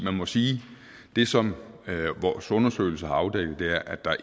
må sige at det som vores undersøgelse har afdækket er at der